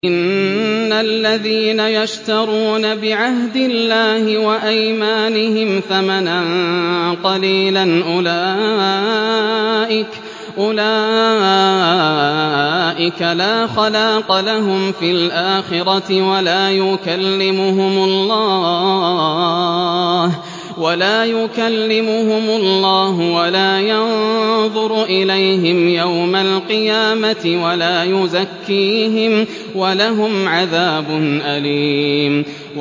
إِنَّ الَّذِينَ يَشْتَرُونَ بِعَهْدِ اللَّهِ وَأَيْمَانِهِمْ ثَمَنًا قَلِيلًا أُولَٰئِكَ لَا خَلَاقَ لَهُمْ فِي الْآخِرَةِ وَلَا يُكَلِّمُهُمُ اللَّهُ وَلَا يَنظُرُ إِلَيْهِمْ يَوْمَ الْقِيَامَةِ وَلَا يُزَكِّيهِمْ وَلَهُمْ عَذَابٌ أَلِيمٌ